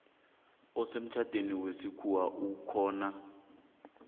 osemtjhadweni wesikhuwa okhona